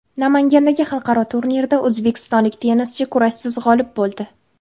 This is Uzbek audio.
Namangandagi xalqaro turnirda o‘zbekistonlik tennischi kurashsiz g‘olib bo‘ldi.